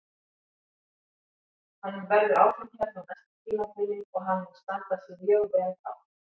Hann verður áfram hérna á næsta tímabili og hann mun standa sig mjög vel þá.